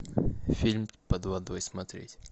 фильм под водой смотреть